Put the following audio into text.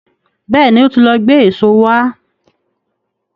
Bẹ́ẹ̀ni, ó ti lọ gbé èso wá.